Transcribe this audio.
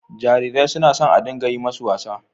Jarirai suna so a dinga yi masu wasa.